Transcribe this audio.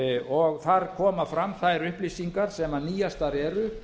og þar koma fram þær upplýsingar sem nýjastar eru